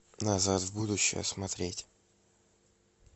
назад в будущее смотреть